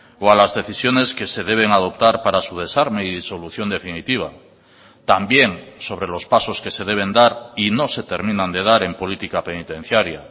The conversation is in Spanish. o a las decisiones que se deben adoptar para su desarme y disolución definitiva también sobre los pasos que se deben dar y no se terminan de dar en política penitenciaria